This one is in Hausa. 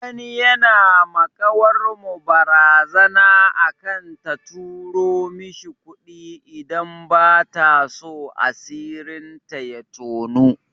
Wani yana ma ƙawar mu barazana akan ta turo mishi kuɗi idan bataso asirin ta ya toni.